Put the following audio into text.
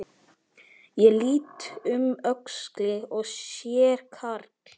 Ég lít um öxl og sé karl